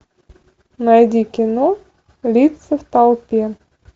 найди кино лица в толпе